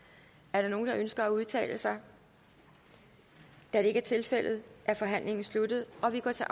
er der nogen der ønsker at udtale sig da det ikke er tilfældet er forhandlingen sluttet og vi går til